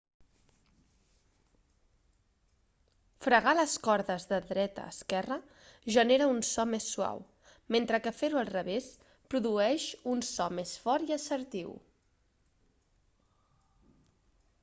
fregar les cordes de dreta a esquerra genera un so més suau mentre que fer-ho al revés produeix un so més fort i assertiu